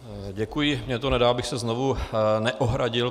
Děkuji, mně to nedá, abych se znovu neohradil.